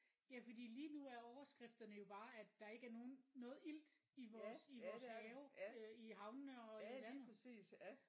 Ja fordi lige nu er overskrifterne jo bare at der ikke er nogen noget ilt i vores i vores have øh i havnene og i vandet